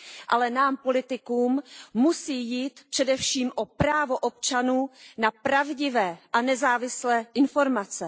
Ale nám, politikům, musí jít především o právo občanů na pravdivé a nezávislé informace.